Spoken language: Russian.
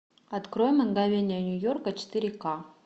открой мгновения нью йорка четыре ка